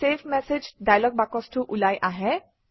save message dialogue বাকচটো ওলাই আহে